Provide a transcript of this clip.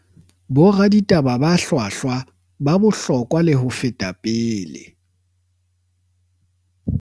Boraditaba ba hlwahlwa ba bohlokwa le ho feta pele